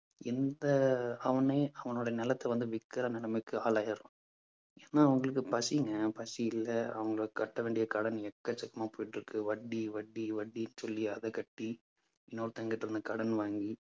எந்த அவனே அவனோட நிலத்தை வந்து விற்கிற நிலைமைக்கு ஆளாகிறான் என்ன அவனுக்கு பசிங்க பசி இல்லை அவங்க கட்ட வேண்டிய கடன் எக்கச்சக்கமா போயிட்டிருக்கு. வட்டி வட்டி வட்டின்னு சொல்லி அதை கட்டி இன்னொருத்தன்கிட்ட இருந்து கடன் வாங்கி